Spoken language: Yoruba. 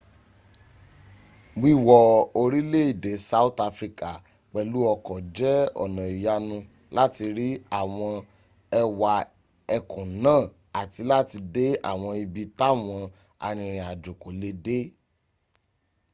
wíwọ orílẹ̀èdè south africa pẹ̀lú ọkọ̀ jẹ́ ọ̀nà ìyanu láti rí àwọn ẹwà ẹkùn náà àti láti dé àwọn ibi táwan arìnrìnajó kò lè dé